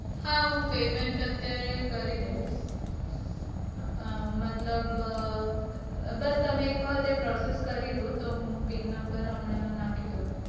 હા હું payment અત્યારે કરી દઈશ. અમ મતલબ અમ બસ તમે એક વાર process કરીદો. તો હું PINnumber હમણાં નાંખી દઉં.